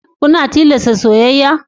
Kuna tilasta soyayya?